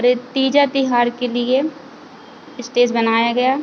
रे तीजा तिहार के लिए स्टेज बनाया गया।